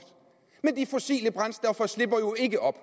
men de fossile brændstoffer slipper jo ikke op